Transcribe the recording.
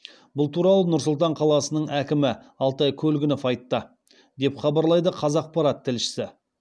бұл туралы нұр сұлтан қаласының әкімі алтай көлгінов айтты деп хабарлайды қазақпарат тілшісі